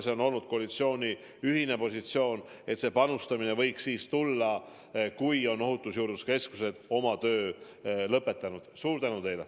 See on olnud koalitsiooni ühine positsioon, et see panustamine võiks tulla, kui ohutusjuurdluse keskused on oma töö lõpetanud.